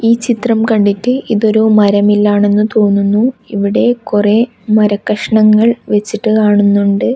ഈ ചിത്രം കണ്ടിട്ട് ഇത് ഒരു മര മില്ലാണെന്നു തോന്നുന്നു ഇവിടെ കുറെ മരക്കഷണങ്ങൾ വെച്ചിട്ട് കാണുന്നുണ്ട്.